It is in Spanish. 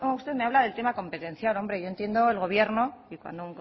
usted me habla del tema competencial hombre yo entiendo el gobierno y cuando